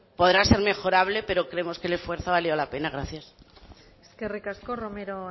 podrá ser mejorable pero creemos que el esfuerzo ha valido la pena gracias eskerrik asko romero